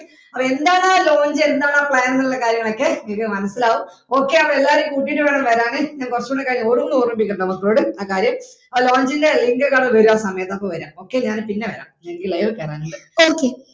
അപ്പൊ എന്താണാ launch എന്താണാ plan ന്നുള്ള കാര്യങ്ങളൊക്കെ നിങ്ങൾക്ക് മനസ്സിലാവും അപ്പൊ okay ആണോ എല്ലാരേം കൂട്ടിട്ട് വേണം വരാന് ഞാൻ കുറച്ചു ക്കൂടി കഴിഞ്ഞിട്ട് ഒന്നൂടി ഓർമിപ്പിക്കും മക്കളോട് ആ കാര്യം ആ launch ൻറെ link എല്ലാം വരുവാൻ സമയാവുമ്പോൾ വരാം അപ്പൊ ഞാൻ പിന്നെ വരാം എനിക്ക് live ഇൽ കേറാനുണ്ട് okay